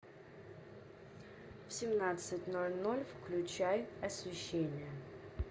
в семнадцать ноль ноль включай освещение